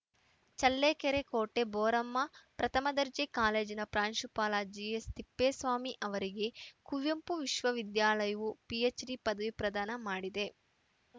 ಚಳ್ಳಕೆರೆ ಕೋಟೆ ಬೋರಮ್ಮ ಪ್ರಥಮ ದರ್ಜೆ ಕಾಲೇಜಿನ ಪ್ರಾಂಶುಪಾಲ ಜಿಎಸ್‌ತಿಪ್ಪೇಸ್ವಾಮಿ ಅವರಿಗೆ ಕುವೆಂಪು ವಿಶ್ವವಿದ್ಯಾಲಯವು ಪಿಎಚ್‌ಡಿ ಪದವಿ ಪ್ರದಾನ ಮಾಡಿದೆ